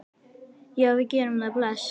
Já, við gerum það. Bless.